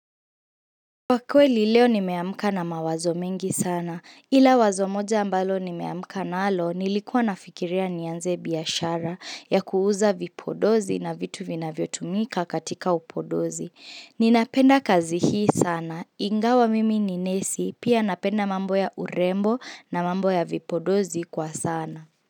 Kwa kweli leo nimeamka na mawazo mingi sana, ila wazo moja ambalo nimeamka na alo nilikuwa nafikiria nianze biashara ya kuuza vipodozi na vitu vinavyo tumika katika upodozi. Ninapenda kazi hii sana, ingawa mimi ni nesi, pia napenda mambo ya urembo na mambo ya vipodozi kwa sana.